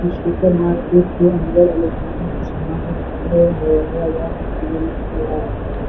इस सुपरमार्केट के अंदर इलेक्ट्रॉनिक का सामान है कपड़े हैं --